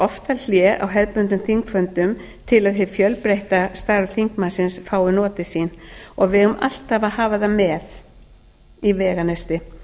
oftar hlé á hefðbundnum þingfundum til að hið fjölbreytta starf þingmannsins fái notið sín við eigum alltaf að hafa það með í veganesti